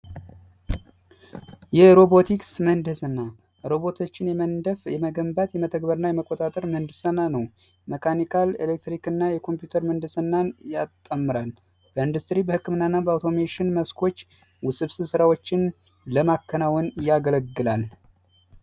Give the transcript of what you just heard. የሮቦቲክስ ምህንድስና ሮቦቶችን የመንደፍ፣ የመገንባት እና የመቆጣጠር ምህንድስና ነው። የመካኒካል ፣የኤሌክትሪክ እና የኮምፒውተር ምህንድስና ያጣምራል። በኢንዱስትሪ በህክምና እና በአውቶሜሽን መስኮች ውስብስብ ስራዎችን ለማከናወን ያገለግላል።